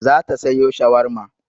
Za ta sayo shawarma.